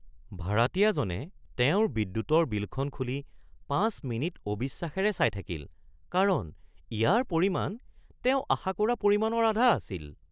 ভাৰাতীয়াজনে তেওঁৰ বিদ্যুৎৰ বিলখন খুলি ৫ মিনিট অবিশ্বাসেৰে চাই থাকিল কাৰণ ইয়াৰ পৰিমাণ তেওঁ আশা কৰা পৰিমাণৰ আধা আছিল